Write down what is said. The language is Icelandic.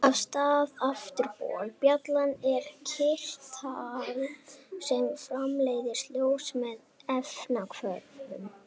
Aftast á afturbol bjallanna eru kirtlar sem framleiða ljós með efnahvörfum.